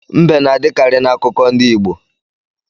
Mbe na-adikari n'akụko ndị Igbo.